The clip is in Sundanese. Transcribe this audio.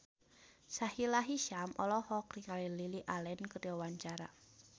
Sahila Hisyam olohok ningali Lily Allen keur diwawancara